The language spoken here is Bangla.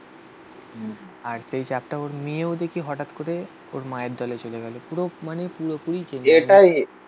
আর সেই চাপটা ওর মেয়েও দেখি হঠাৎ করে ওর মায়ের দলে চলে গেল. পুরো মানে পুরোপুরি চেঞ্জ